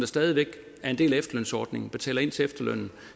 stadig væk er en del af efterlønsordningen betaler ind til efterlønnen